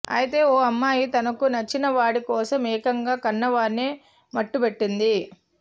అయితే ఓ అమ్మాయి తనకు నచ్చినవాడి కోసం ఏకంగా కన్నవారినే మట్టుబెట్టింది